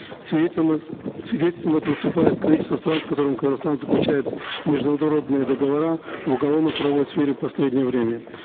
свидетельством этого выступает количество стран с которыми казахстан заключает международные договора в уголовно правовой сфере в последнее время